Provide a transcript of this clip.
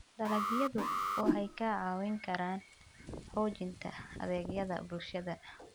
Dalagyadu waxay kaa caawin karaan xoojinta adeegyada bulshada.